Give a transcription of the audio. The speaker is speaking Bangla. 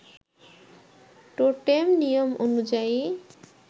টোটেম নিয়ম অনুযায়ী